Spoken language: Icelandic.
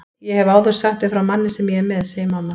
Ég hef áður sagt þér frá manni sem ég er með, segir mamma.